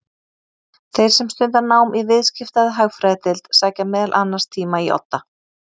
Þeir sem stunda nám í Viðskipta- eða Hagfræðideild sækja meðal annars tíma í Odda.